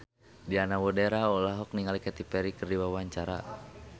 Diana Widoera olohok ningali Katy Perry keur diwawancara